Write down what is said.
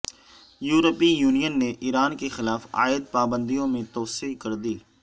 یورپی یونین نے ایران کے خلاف عائد پابندیوں میں توسیع کردی